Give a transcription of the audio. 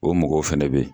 O mɔgɔw fɛnɛ bɛ yen